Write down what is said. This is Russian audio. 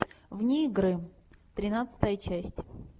вне игры тринадцатая часть